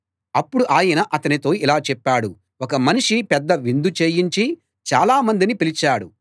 అప్పుడు ఆయన అతనితో ఇలా చెప్పాడు ఒక మనిషి పెద్ద విందు చేయించి చాలా మందిని పిలిచాడు